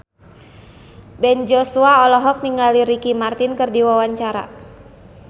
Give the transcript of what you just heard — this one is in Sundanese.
Ben Joshua olohok ningali Ricky Martin keur diwawancara